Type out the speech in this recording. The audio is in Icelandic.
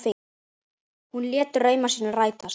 Hún lét drauma sína rætast.